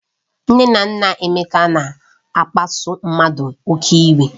Nne na nna Emeka na-akpasu mmadụ oke iwe